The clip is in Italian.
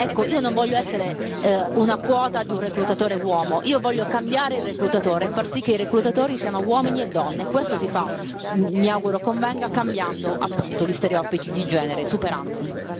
Ecco, io non voglio essere una quota di un reclutatore uomo, io voglio cambiare il reclutatore e far sì che i reclutatori siano uomini e donne, questo si fa, mi auguro convenga, cambiando appunto gli stereotipi di genere e superandoli.